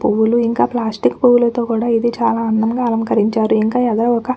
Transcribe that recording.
పువ్వులు ఇంకా ప్లాస్టిక్ పూలతో కూడా ఇది చాలా అందంగా అలంకరించారుఇంకా ఏదో ఒక్క.